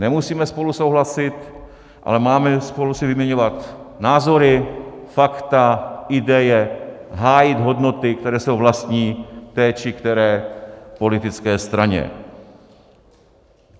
Nemusíme spolu souhlasit, ale máme si spolu vyměňovat názory, fakta, ideje, hájit hodnoty, které jsou vlastní té či které politické straně.